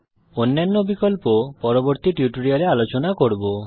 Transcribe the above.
অন্যান্য বিকল্প পরবর্তী টিউটোরিয়ালে আলোচনা করা হবে